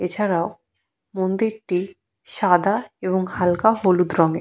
এছাড়াও মন্দিরটি সাদা এবং হালকা হলুদ রঙের।